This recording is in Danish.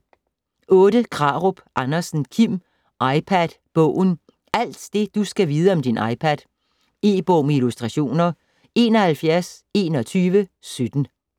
Krarup Andersen, Kim: iPad bogen: alt det du skal vide om din iPad E-bog med illustrationer 712117